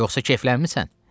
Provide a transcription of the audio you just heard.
Yoxsa keyflənmisən?